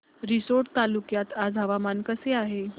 रिसोड तालुक्यात आज हवामान कसे आहे